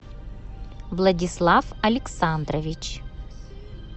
владислав александрович